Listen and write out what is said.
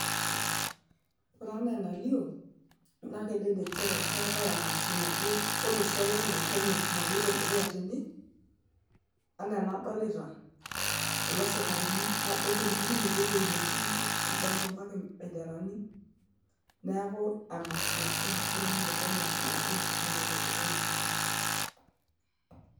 ore anaa enalio naa kedede nchere keetae emasho naje olosho lang le kenya naloito dukuya tene anaa enadolita kulo sikarini nadol tempukunoto ewueji netiiki nadolta mpaka embenderani neeku emasho olosho lang le kenya naje naloito dukuya tene.